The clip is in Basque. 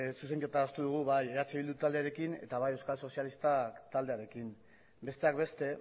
zuzenketa adostu dugu bai eh bildu taldearekin eta bai euskal sozialistak taldearekin besteak beste